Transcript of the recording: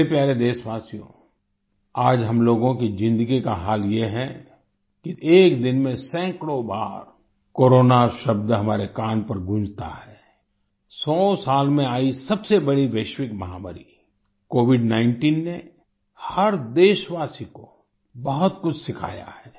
मेरे प्यारे देशवासियो आज हम लोगों की ज़िन्दगी का हाल ये है कि एक दिन में सैकड़ों बार कोरोना शब्द हमारे कान पर गूंजता है सौ साल में आई सबसे बड़ी वैश्विक महामारी COVID19 ने हर देशवासी को बहुत कुछ सिखाया है